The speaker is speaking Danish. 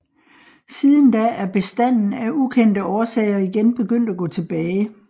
Siden da er bestanden af ukendte årsager igen begyndt at gå tilbage